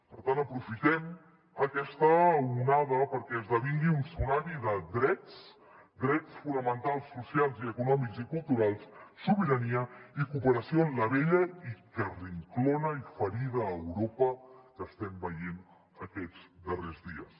per tant aprofitem aquesta onada perquè esdevingui un tsunami de drets drets fonamentals socials i econòmics i culturals sobirania i cooperació en la vella i carrinclona i ferida europa que estem veient aquests darrers dies